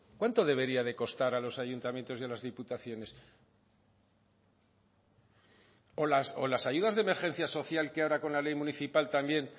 cuánto debería de costar a los ayuntamientos y a las diputaciones o las ayudas de emergencia social que ahora con la ley municipal también